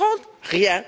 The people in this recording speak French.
2030? Rien.